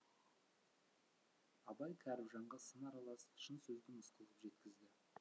абай кәріпжанға сын аралас шын сөзді мысқыл қып жеткізді